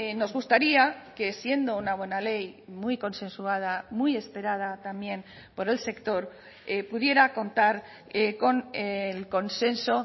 nos gustaría que siendo una buena ley muy consensuada muy esperada también por el sector pudiera contar con el consenso